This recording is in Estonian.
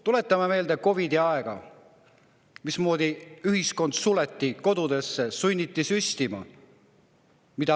Tuletame meelde COVID‑i aega, kui ühiskond suleti kodudesse ja sunniti süstida.